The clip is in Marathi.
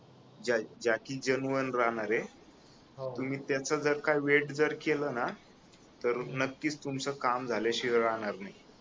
ज्या ज्या की जेनुइन राहणारय हो तुम्ही त्याच जर काय वेट जर केल ना तर नक्कीच तुमच काम झाल्याशिवाय राहणार नाही